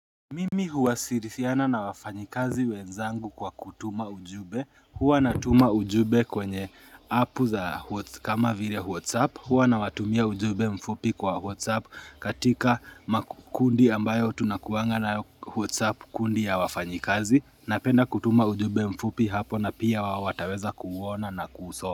Mimi huwasiriana na wafanyikazi wenzangu kwa kutuma ujumbe Huwa natuma ujumbe kwenye app za kama vile whatsapp Huwa nawatumia ujumbe mfupi kwa whatsapp katika makundi ambayo tunakuanga nayo whatsapp kundi ya wafanyikazi Napenda kutuma ujumbe mfupi hapo na pia wao wataweza kuuona na kuusoma.